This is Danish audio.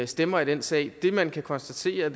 stemmer i den sag det man kan konstatere